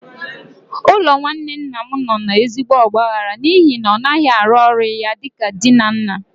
Ụlọ nwanne nna m nọ n'ezigbo ọgbaghara n'ihi na ọ naghị arụ ọrụ ya dị ka di na nna.